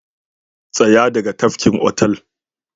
Tsaya daga tafkin otal